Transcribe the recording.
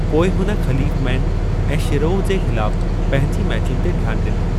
पोइ हुन खलीफ़मैन ऐं शिरोव जे ख़िलाफ़ पंहिंजे मैचुनि ते ध्यानु ॾिनो।